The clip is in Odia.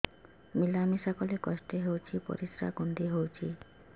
ମିଳା ମିଶା କଲେ କଷ୍ଟ ହେଉଚି ପରିସ୍ରା କୁଣ୍ଡେଇ ହଉଚି